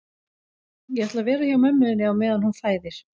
Ég ætla að vera hjá mömmu þinni á meðan hún fæðir